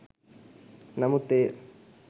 නමුත් එය